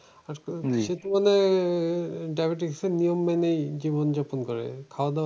সেরকম হলে diabetes এর নিয়ম মেনেই জীবনযাপন করে। খাওয়া দাওয়া